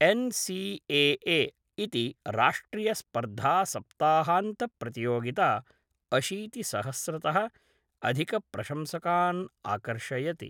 NCAA इति राष्ट्रियस्पर्धासप्ताहान्तप्रतियोगिता अशीतिसहस्रतः अधिकप्रशंसकान् आकर्षयति।